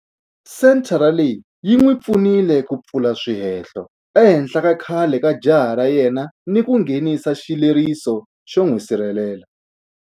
Senthara leyi yi n'wi pfunile ku pfula swihehlo ehenhla ka khale ka jaha ra yena ni ku nghenisa xileriso xo n'wi sirhelela.